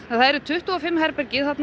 það er tuttugu og fimm herbergi